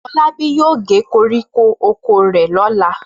Fọlábí yóò gé koríko oko rẹ̀ lọ́la.